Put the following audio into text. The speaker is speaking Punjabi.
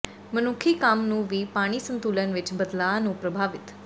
ਮਨੁੱਖੀ ਕੰਮ ਨੂੰ ਵੀ ਪਾਣੀ ਸੰਤੁਲਨ ਵਿਚ ਬਦਲਾਅ ਨੂੰ ਪ੍ਰਭਾਵਿਤ